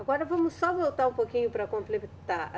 Agora vamos só voltar um pouquinho para completar.